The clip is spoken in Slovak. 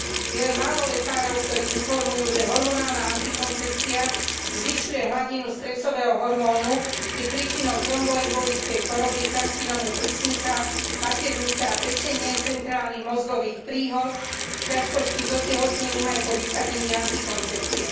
Je len málo lekárov, ktorí informujú, že hormonálna antikoncepcia zvyšuje hladinu stresového hormónu, je príčinou tromboembolickej choroby, karcinómu prsníka, maternice a pečene, centrálnych mozgových príhod, ťažkosti s otehotnením aj po vysadení antikoncepcie.